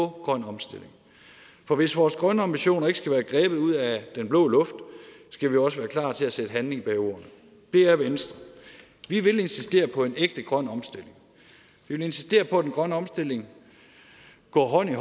grøn omstilling for hvis vores grønne ambitioner ikke skal være grebet ud af den blå luft skal vi også være klar til at sætte handling bag ordene det er venstre vi vil insistere på en ægte grøn omstilling vi vil insistere på at den grønne omstilling går hånd i